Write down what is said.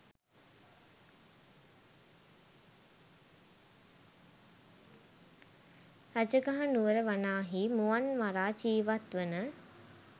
රජගහනුවර වනාහි මුවන් මරා ජීවත්වන